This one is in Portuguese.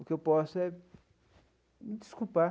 O que eu posso é me desculpar.